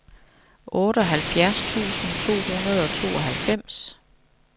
otteoghalvfjerds tusind to hundrede og tooghalvfems